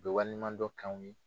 U be waleɲuman dɔn k'anw ye.